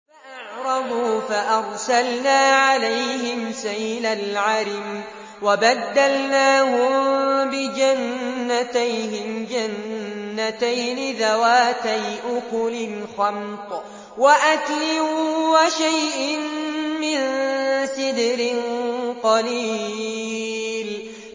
فَأَعْرَضُوا فَأَرْسَلْنَا عَلَيْهِمْ سَيْلَ الْعَرِمِ وَبَدَّلْنَاهُم بِجَنَّتَيْهِمْ جَنَّتَيْنِ ذَوَاتَيْ أُكُلٍ خَمْطٍ وَأَثْلٍ وَشَيْءٍ مِّن سِدْرٍ قَلِيلٍ